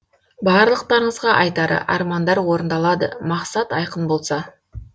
барлықтарыңызға айтары армандар орындалады мақсат айқын болса